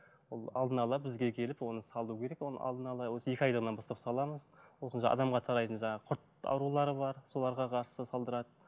ол алдын ала бізге келіп оны салу керек оны алдын ала осы екі айлығынан бастап саламыз сосын адамға тарайтын жаңағы құрт аурулары бар соларға қарсы салдырады